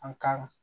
An ka